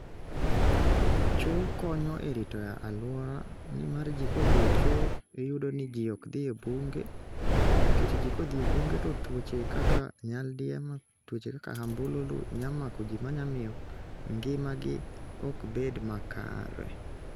Cho konyo e rito aluora ni mar ji kodhie cho iyudo ni ji okdhi e bung'e nikech jii kodhi e bung'e to tuoche kaka nyaldiema tuoche kaka ambululu nyalo mako ji ma nya miyo ng'ima gi ok bed makare.